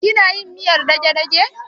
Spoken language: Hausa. Kina yin miyar dagedage?